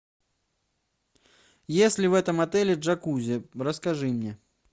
есть ли в этом отеле джакузи расскажи мне